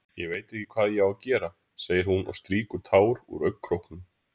Ég veit ekki hvað ég á að gera, segir hún og strýkur tár úr augnkrókunum.